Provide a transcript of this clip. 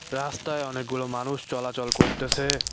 রাস্তায় অনেকগুলো মানুষ চলাচল করতেসে।